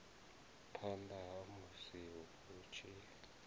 phanḓa ha musi hu tshi